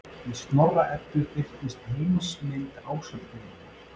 Í Snorra-Eddu birtist heimsmynd Ásatrúarinnar.